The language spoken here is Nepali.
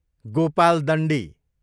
गोपालदण्डी